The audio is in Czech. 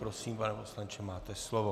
Prosím, pane poslanče, máte slovo.